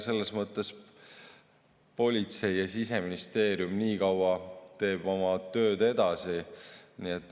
Selles mõttes politsei ja Siseministeerium niikaua teevad oma tööd edasi.